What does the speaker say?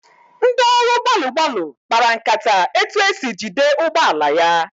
Ndị ọrụ gbalụ gbalụ kpara nkata etu esi jide ụgbọala ya.